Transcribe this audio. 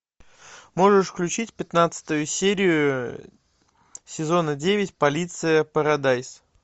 можешь включить пятнадцатую серию сезона девять полиция парадайз